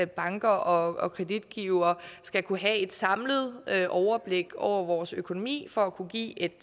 banker og og kreditgivere skal kunne have et samlet overblik over vores økonomi for at kunne give et